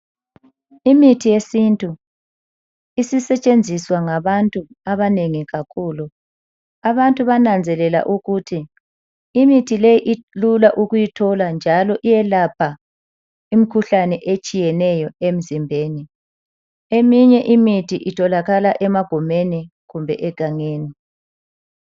Imithi yesintu isetshenziswa ngabantu abanengi kakhulu. Abantu bananzelela ukuthi imithi leyi ilula ukuyithola njalo iyelapha imikhuhlane etshiyeneyo emzimbeni. Eminye imithi itholakala emagumeni kumbe egangeni.